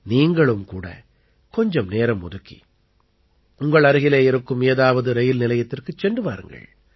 நீங்களும் கூட கொஞ்சம் நேரம் ஒதுக்கி உங்கள் அருகிலே இருக்கும் ஏதாவது ரயில் நிலையத்திற்குச் சென்று வாருங்கள்